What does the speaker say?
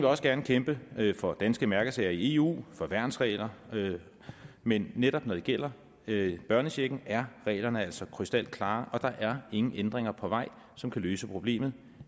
også gerne kæmpe for danske mærkesager i eu for værnsregler men netop når det gælder børnechecken er reglerne altså krystalklare og der er ingen ændringer på vej som kan løse problemet